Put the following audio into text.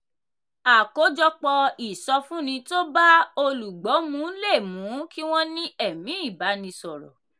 àkójọpọ̀ ìsọfúnni tó bá olùgbọ́ mu le mú kí wọ́n ní ẹ̀mí ìbánisọ̀rọ̀.